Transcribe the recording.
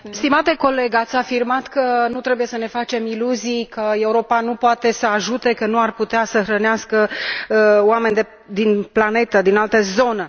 Stimate coleg, ați afirmat că nu trebuie să ne facem iluzii, că Europa nu poate să ajute, că nu ar putea să hrănească oameni de pe planetă din altă zonă.